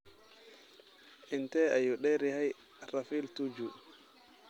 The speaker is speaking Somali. Intee ayuu dheer yahay rafel tuju?